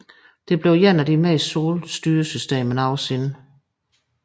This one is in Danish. Det blev et af de meste solgte styresystemer nogensinde